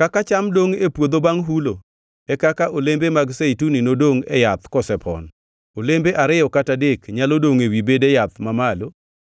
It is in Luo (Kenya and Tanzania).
Kaka cham dongʼ e puodho bangʼ hulo, e kaka olembe mag zeituni nodongʼ e yath kosepon, olembe ariyo kata adek nyalo dongʼ ewi bede yath mamalo